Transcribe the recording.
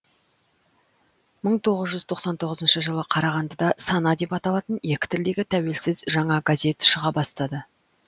мың тоғыз жүз тоқсан тоғызыншы жылы қарағандыда сана деп аталатын екі тілдегі тәуелсіз жаңа газет шыға бастады